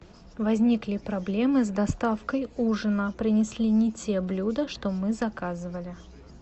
возникли проблемы с доставкой ужина принесли не те блюда что мы заказывали